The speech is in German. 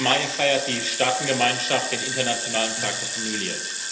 15. Mai feiert die Staatengemeinschaft den Internationalen Tag der Familie.